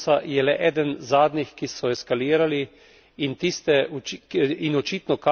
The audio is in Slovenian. A problem eksodusa je le eden zadnjih, ki so eskalirali, in tiste...